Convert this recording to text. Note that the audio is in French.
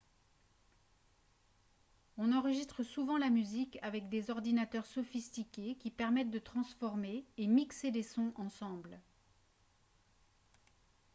on enregistre souvent la musique avec des ordinateurs sophistiqués qui permettent de transformer et mixer des sons ensemble